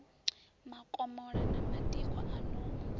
makomola na madiko a no